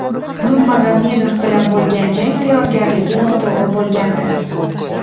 Nurmagomedov bilan bo‘lgan jang tayyorgarligi noto‘g‘ri bo‘lgandi.